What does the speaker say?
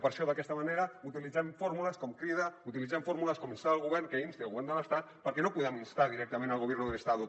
per això d’aquesta manera utilitzem fórmules com crida utilitzem fórmules com instar el govern que insti el govern de l’estat perquè no podem instar directament el governo del estado